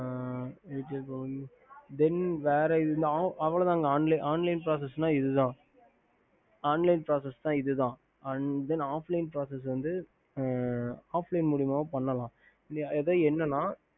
then அவ்லத்ங்க online pracess இதுத offline pracsee வந்து off line முலமாவோம் பண்ணலாம்